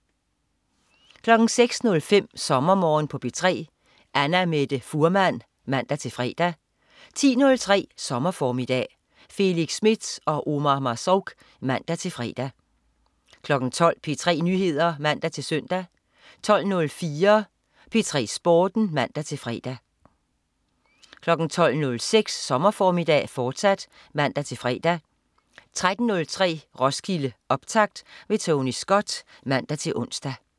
06.05 SommerMorgen på P3. Annamette Fuhrmann (man-fre) 10.03 Sommerformiddag. Felix Smith og Omar Marzouk (man-fre) 12.00 P3 Nyheder (man-søn) 12.04 P3 Sporten (man-fre) 12.06 Sommerformiddag, fortsat (man-fre) 13.03 Roskilde, optakt. Tony Scott (man-ons)